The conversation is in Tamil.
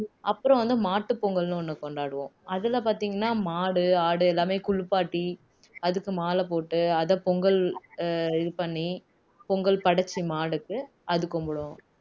அப்புறம் வந்து மாட்டுப்பொங்கல்ன்னு ஒண்ணு கொண்டாடுவோம் அதுல பார்த்தீங்கன்னா மாடு, ஆடு எல்லாமே குளிப்பாட்டி அதுக்கு மாலை போட்டு அதைபொங்கல் இது பண்ணி பொங்கல் படைச்சு மாடுக்கு அது கும்பிடுவோம்